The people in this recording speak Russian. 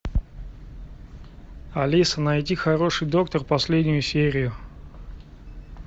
алиса найди хороший доктор последнюю серию